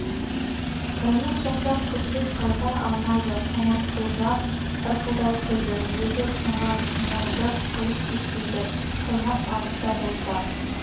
таймас жақтан күзсіз қайта алмайды қоңырқұлжа ырқылдай күлді өзі ұсынған мойынды қылыш кеспейді таймас алыста болса